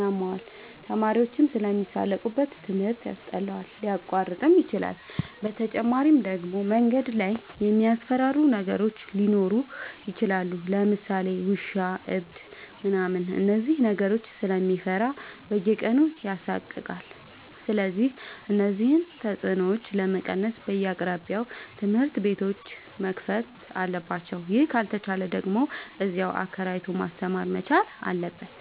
ያመዋል፣ ተማሪዎችም ስለሚሳለቁበት ትምህርት ያስጠላዋል፣ ሊያቋርጥም ይችላል። በተጨማሪ ደግሞ መንገድ ላይ የሚያስፈራሩ ነገሮች ሊኖሩ ይችላሉ ለምሳሌ ውሻ እብድ ምናምን እነዚህን ነገሮች ስለሚፈራ በየቀኑ ይሳቀቃል። ስለዚህ እነዚህን ተፅኖዎች ለመቀነስ በየአቅራቢያው ትምህርት ቤቶዎች መከፈት አለባቸው ይህ ካልተቻለ ደግሞ እዚያው አከራይቶ ማስተማር መቻል አለበት።